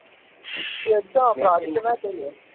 century அடிச்சான் அப்புறம் அடுத்த match